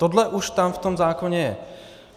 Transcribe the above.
Tohle už tam v tom zákoně je.